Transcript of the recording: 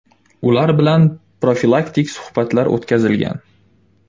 Ular bilan profilaktik suhbatlar o‘tkazilgan.